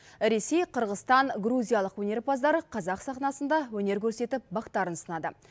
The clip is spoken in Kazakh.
ресей қырғызстан грузиялық өнерпаздар қазақ сахнасында өнер көрсетіп бақтарын сынады